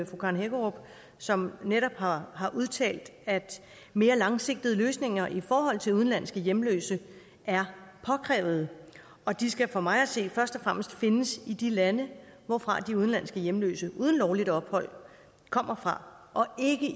fru karen hækkerup som netop har har udtalt at mere langsigtede løsninger i forhold til udenlandske hjemløse er påkrævet og de skal for mig at se først og fremmest findes i de lande hvorfra de udenlandske hjemløse uden lovligt ophold kommer fra og ikke